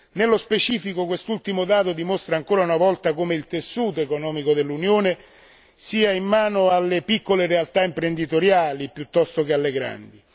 Nello specifico quest'ultimo dato dimostra ancora una volta come il tessuto economico dell'Unione sia in mano alle piccole realtà imprenditoriali piuttosto che alle grandi.